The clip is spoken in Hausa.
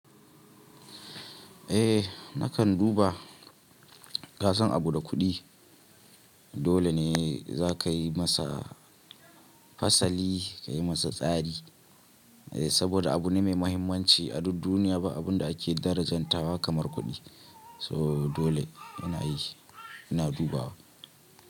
Eh, nakan duba, kasan abu da kuɗi dole ne za ka yi masa fasali, ka yi masa tsari. Eh saboda abu ne mai mahimmanci a duk duniya ba abun da ake darajanta ba kamar kuɗi. So dole ina yi, ina dubawa.